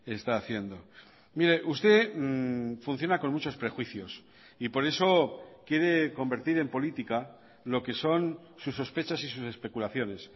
está haciendo mire usted funciona con muchos prejuicios y por eso quiere convertir en política lo que son sus sospechas y sus especulaciones